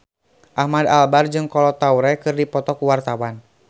Ahmad Albar jeung Kolo Taure keur dipoto ku wartawan